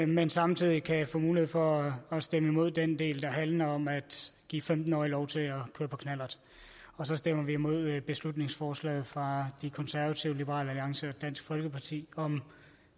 men samtidig kan få mulighed for stemme imod den del der handler om at give femten årige lov til at køre på knallert og så stemmer vi imod beslutningsforslaget fra de konservative liberal alliance og dansk folkeparti om